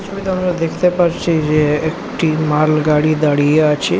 এই ছবিতে আমরা দেখতে পারছি যে একটি মাল গাড়ি দাঁড়িয়ে আছে।